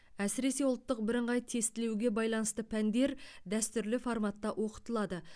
әсіресе ұлттық бірыңғай тестілеуге байланысты пәндер дәстүрлі форматта оқытылады